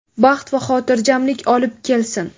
baxt va xotirjamlik olib kelsin.